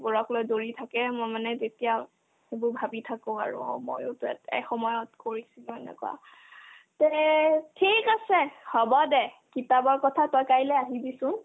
বোৰক লৈ দৌৰি থাকে মই মানে তেতিয়া এইবোৰ ভাবি থাকো আৰু অ ময়োতো এট ~ এসময়ত কৰিছিলো এনেকুৱা থিক আছে হ'ব দে কিতাপৰ কথা তই কালৈ আহিবিচোন